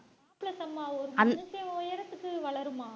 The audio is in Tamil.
மனுஷன் உயரத்துக்கு வளருமா